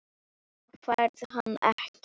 Þú færð hann ekki.